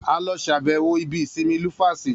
A lọ ṣàbẹ̀wọ̀ ibi ìsinmi Lufasi